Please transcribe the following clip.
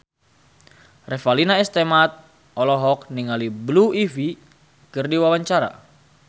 Revalina S. Temat olohok ningali Blue Ivy keur diwawancara